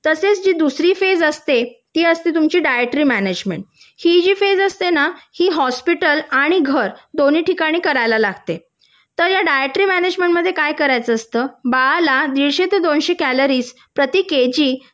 तशीच जी दुसरी फेज असते ती असते डायटरी मॅनेजमेंट ही जी फेज असते ना ही हॉस्पिटल आणि घर दोन्ही ठिकाणी करायला लागते या डायटरी मॅनेजमेंट मध्ये काय करायचं असतं बाळाला दीडशे ते दोनशे कॅलरीज प्रति केजी